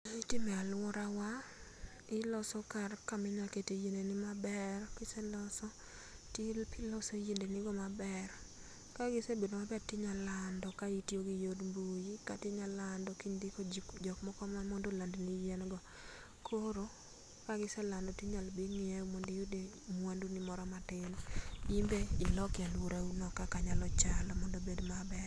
Itime aluora, iloso kar kama inyalo kete yiende ni maber, kiseloso ti loso yiende nigo maber ka gisebedo maber ti nya lando ka itiyo gi yor mbui kata iyalando kindiko ji jokmoko ma mondo oland ni yien go koro ka giselando to inyalo bii ngiew mondo iyude mawandu ni moro matin ibe iloke aluorauno kaka nyalo chalo mondo obed maber.